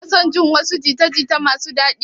Kuna son jin wasu jita-jita masu daɗi?